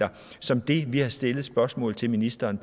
som vi har stillet spørgsmål til ministeren